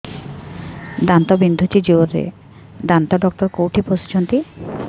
ଦାନ୍ତ ବିନ୍ଧୁଛି ଜୋରରେ ଦାନ୍ତ ଡକ୍ଟର କୋଉଠି ବସୁଛନ୍ତି